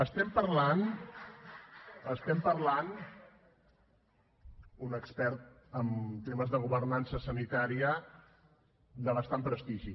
estem parlant estem parlant d’un expert en temes de governança sanitària de bastant prestigi